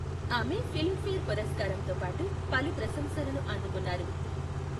ఆమె ఫిల్మ్ఫేర్ పురస్కారంతో పాటు పలు ప్రశంసలను అందుకున్నారు.